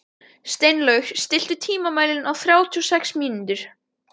Steinlaug, stilltu tímamælinn á þrjátíu og sex mínútur.